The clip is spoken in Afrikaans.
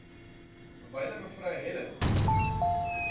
wyle me helen